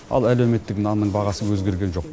ал әлеуметтік нанның бағасы өзгерген жоқ